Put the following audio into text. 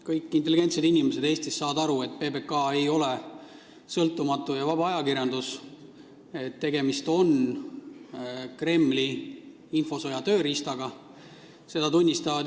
Kõik intelligentsed inimesed Eestis saavad aru, et PBK ei ole sõltumatu ega vaba ajakirjandus, et see on Kremli infosõja tööriist.